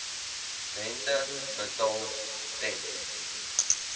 rente betaal ten